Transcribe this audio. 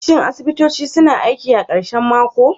Shin asibitoci suna aiki a karshen mako?